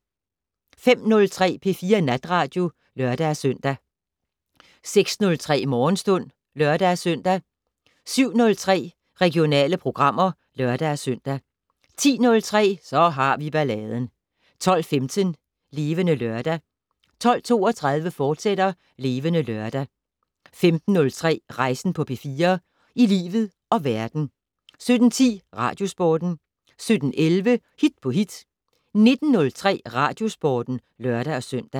05:03: P4 Natradio (lør-søn) 06:03: Morgenstund (lør-søn) 07:03: Regionale programmer (lør-søn) 10:03: Så har vi balladen 12:15: Levende Lørdag 12:32: Levende Lørdag, fortsat 15:03: Rejsen på P4 - i livet og verden 17:10: Radiosporten 17:11: Hit på hit 19:03: Radiosporten (lør-søn)